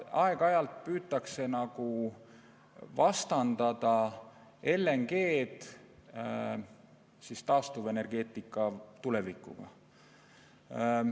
Aeg-ajalt püütakse nagu vastandada LNG-d taastuvenergeetika tulevikuga.